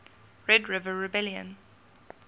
red river rebellion